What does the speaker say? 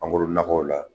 Mangoro nakɔw la